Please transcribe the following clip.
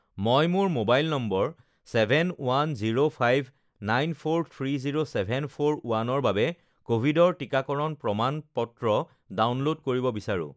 মই মোৰ mobile number seven one zero five nine four three zero seven four ওৱানৰ বাবে কভিডৰ টিকাকৰণ প্ৰমাণ-পত্ৰ ডাউনল'ড কৰিব বিচাৰোঁ